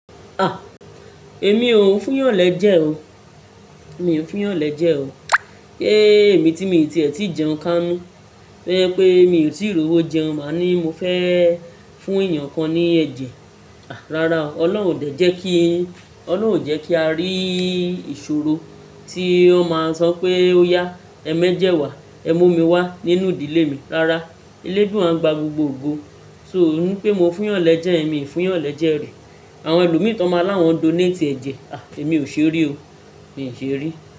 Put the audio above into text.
Ah! Èmi ò n fún yàn lẹ́jẹ̀ o, mi ò n fún yàn lẹ́jẹ̀ o. Se èmi tí mi ti è tí jẹun kánú, to je pé mi ò tí rowó jẹun, máa ní mo fẹ́ fún èèyàn kan ní ẹ̀jẹ̀. Rárá o, Ọlọ́run ò de jẹ́ kí, Ọlọ́run ò jẹ́ kí a rí ìṣòro tí won maa ń sọ pé ó yá, ẹ méjẹ̀ wá, ẹ mú omi wá nínú ìdílé mi. Rárá, eléduwa ń gba gbogbo ogo. So ó ní pé mo fún yàn lẹ́jẹ̀ yen, mii fún yàn lẹ́jẹ̀ rí. Àwọn ẹlòmíràn tón máa láwọn donate ẹ̀jẹ̀, ah Èmi ò ṣe rí o, mi ò ṣe rí.